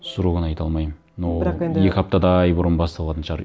срогын айта алмаймын но бірақ енді екі аптадай бұрын басталатын шығар